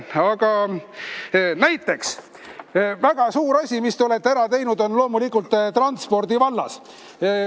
Aga näiteks väga suur asi, mis te olete ära teinud, on loomulikult transpordi vallas.